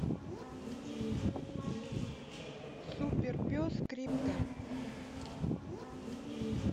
суперпес крипто